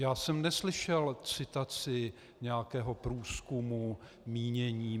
Já jsem neslyšel citaci nějakého průzkumu mínění.